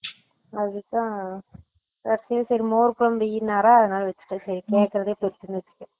அது தான் சட்டுனு மோர் குழம்பு வையினாரா அதுனால வச்சுட்டேன் சேரி கேக்குறதே பெருசுனு வச்சுட்டேன்